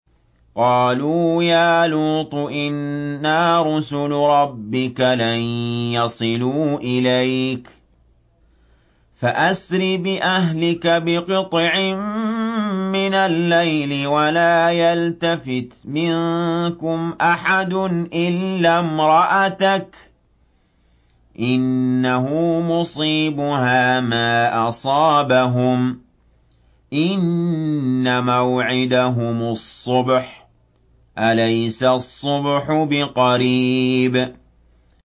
قَالُوا يَا لُوطُ إِنَّا رُسُلُ رَبِّكَ لَن يَصِلُوا إِلَيْكَ ۖ فَأَسْرِ بِأَهْلِكَ بِقِطْعٍ مِّنَ اللَّيْلِ وَلَا يَلْتَفِتْ مِنكُمْ أَحَدٌ إِلَّا امْرَأَتَكَ ۖ إِنَّهُ مُصِيبُهَا مَا أَصَابَهُمْ ۚ إِنَّ مَوْعِدَهُمُ الصُّبْحُ ۚ أَلَيْسَ الصُّبْحُ بِقَرِيبٍ